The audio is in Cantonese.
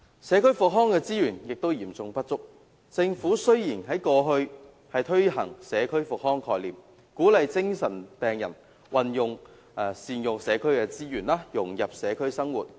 社區復康資源也嚴重不足，雖然政府在過去推行社區復康概念，鼓勵精神病人善用社區資源，融入社區生活。